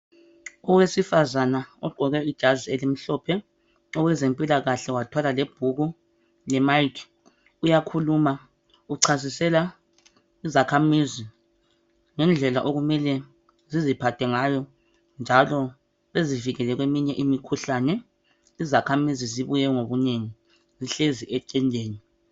owesifazane ogqoke ijazi elimhlophe owezempilakahle wathwala lebhuku le mic uyakhuluma uchasisela izakhamizi ngendlela okumele ziziphathe ngayo njalo zizivikele kweminye imikhuhlane ,izakhamizi zibuye ngobunengi zihlezi etendeni